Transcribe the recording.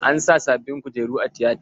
An sa sabin kujeru a tiyata.